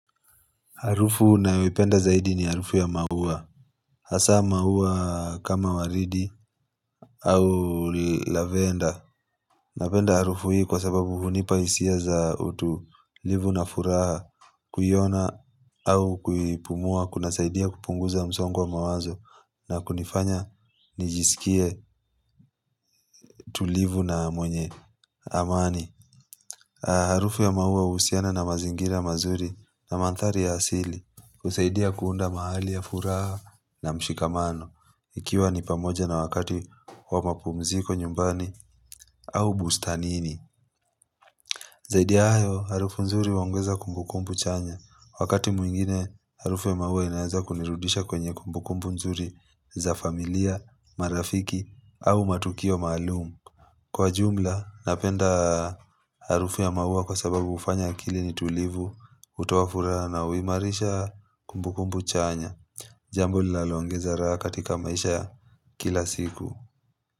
Harufu na wipenda zaidi ni harufu ya maua. Hasa maua kama waridi au lavenda. Napenda harufu hii kwa sababu hunipa hisia za utulivu na furaha kuiona au kuipumua kuna saidia kupunguza msongo wa mawazo na kunifanya nijisikie tulivu na mwenye amani. Harufu ya mahua usiana na mazingira mazuri na mantari ya asili husaidia kuunda mahali ya furaha na mshikamano Ikiwa ni pamoja na wakati wa mapumziko nyumbani au bustanini Zaidia ya hayo harufu nzuri huongeza kumbukumbu chanya Wakati mwingine harufu ya maua inaeza kunirudisha kwenye kumbukumbu nzuri za familia, marafiki au matukio maalumu Kwa jumla napenda harufu ya maua kwa sababu ufanya akili ni tulivu utawafura na uimarisha kumbukumbu chanya Jambo linalo ongeza raha katika maisha kila siku.